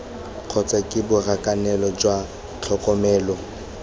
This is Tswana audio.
kgotsa ke borakanelo jwa tlhokomelo